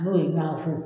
N'o ye ɲagafo